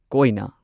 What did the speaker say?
ꯀꯣꯢꯅ